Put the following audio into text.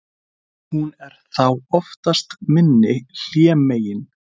hún er þá oftast minni hlémegin